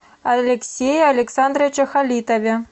алексее александровиче халитове